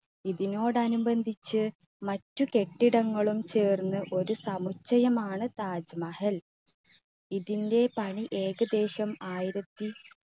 ഇതിനോട് അനുബന്ധിച്ച് മറ്റ് കെട്ടിടങ്ങളും ചേർന്ന് ഒരു സമുച്ചയമാണ് താജ് മഹൽ. ഇതിന്റെ പണി ഏകദേശം ആയിരത്തി